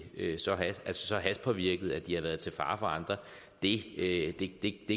så hashpåvirket at de har været til fare for andre det